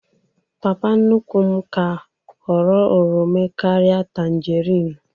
Papa nnukwu m ka họrọ oromo karịa tagerinu